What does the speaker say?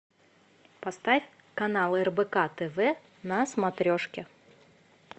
поставь канал рбк тв на смотрешке